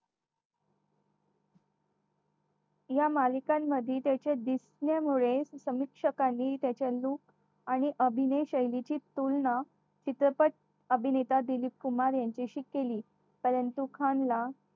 या मालिकांमध्ये त्याच्या दिसण्यामुळे परीक्षकांनी त्याच्या रूप आणि अभिनय शैलेची तुलना चित्रपट अभिनेता दिलीप कुमार यांच्याशी केली परंतु खान ला